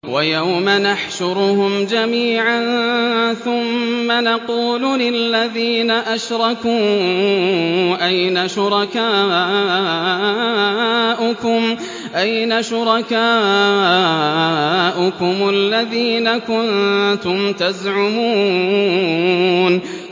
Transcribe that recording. وَيَوْمَ نَحْشُرُهُمْ جَمِيعًا ثُمَّ نَقُولُ لِلَّذِينَ أَشْرَكُوا أَيْنَ شُرَكَاؤُكُمُ الَّذِينَ كُنتُمْ تَزْعُمُونَ